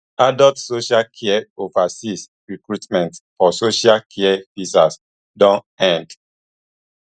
adult social care overseas recruitment for social care visas don end